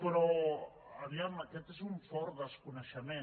però a veure aquest és un fort desconeixement